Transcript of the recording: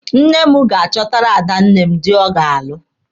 Nne m ga-achọtara adanne m dị ọ ga-alụ.